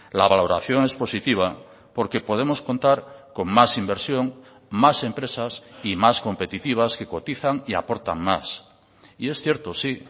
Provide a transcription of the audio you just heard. la valoración es positiva porque podemos contar con más inversión más empresas y más competitivas que cotizan y aportan más y es cierto sí